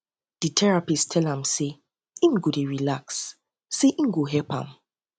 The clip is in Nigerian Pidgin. um di um di um therapist tell am sey im go dey relax sey um e go help am